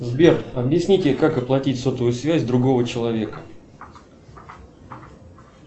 сбер объясните как оплатить сотовую связь другого человека